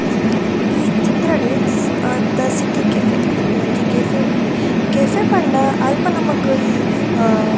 ಈ ಚಿತ್ರಡ್ ಅಹ್ ದ ಸಿಟಿ ಕೆಫೆ ಪನ್ಪಿನ ಒಂಜಿ ಕೆಫೆ ಉಂಡು ಕೆಫೆ ಪಂಡ ಅಲ್ಪ ನಮಕ್ ಇ ಅಹ್ --